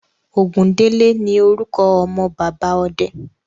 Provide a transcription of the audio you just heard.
Ògúndélé ní orúkọ ọmọ bàbá ọde.